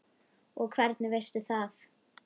Og hvernig veistu það?